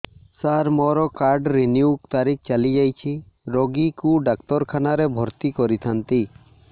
ସାର ମୋର card renew ତାରିଖ ଚାଲି ଯାଇଛି ରୋଗୀକୁ ଡାକ୍ତରଖାନା ରେ ଭର୍ତି କରିଥାନ୍ତି